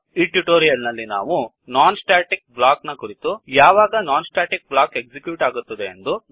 ಈ ಟ್ಯುಟೋರಿಯಲ್ ನಲ್ಲಿ ನಾವು non staticblockನಾನ್ ಸ್ಟ್ಯಾಟಿಕ್ ಬ್ಲಾಕ್ ಕುರಿತು ಯಾವಾಗ non static block non static block execute ಆಗುತ್ತದೆ